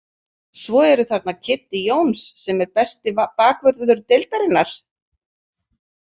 Svo eru þarna Kiddi Jóns sem er besti bakvörður deildarinnar.